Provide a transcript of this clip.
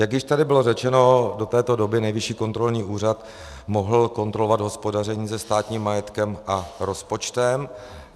Jak již tady bylo řečeno, do této doby Nejvyšší kontrolní úřad mohl kontrolovat hospodaření se státním majetkem a rozpočtem.